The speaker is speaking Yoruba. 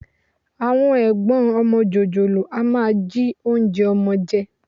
Àwọn ẹ̀gbọ́n ọmọ jòjòló a máa jí oúnjẹ ọmọ jẹ